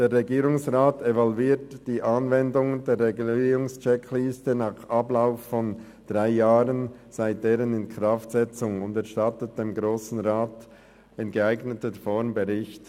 «Der Regierungsrat evaluiert die Anwendung der Regulierungs-Checkliste nach Ablauf von 3 Jahren seit deren Inkraftsetzung und erstattet dem Grossen Rat in geeigneter Form Bericht.